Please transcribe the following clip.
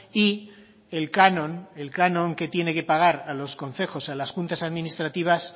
y el canon el canon que tiene que pagar a los concejos a las juntas administrativas